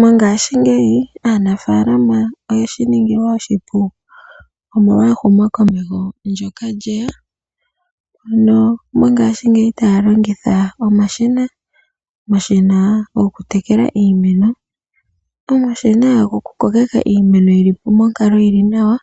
Mongaashingeyi aanafalama oyeshi ningilwa oshipu, molwa ehumokomeho ndyoka lyeya. Ano mongaashingeyi otaya longitha omashina, gokutekela iimeno, gokukokeka iimeno yili monkalo yili nawa,